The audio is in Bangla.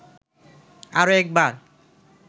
আরো একবার